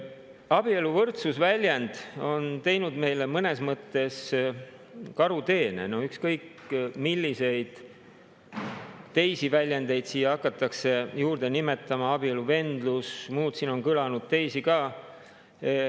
Abieluvõrdsuse väljend on teinud meile mõnes mõttes karuteene, ükskõik milliseid teisi väljendeid hakatakse juurde nimetama, nagu "abieluvendlus" ja muud, siin on kõlanud teisi ka.